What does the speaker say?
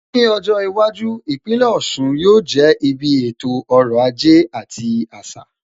Ní ọjọ́ iwájú, Ìpínlẹ̀ Ọ̀sun yóò jẹ́ ibi ètò ọrọ̀ ajé àti àṣà.